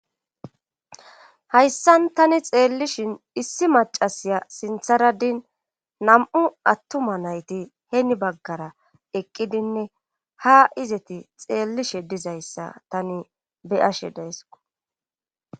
Hayssan tani xeellishin issi macasiya sintharadin nam'u attuma nayti heeni baggara eqqidinne ha izeti xeellishe dizayssa tani beyashe deesko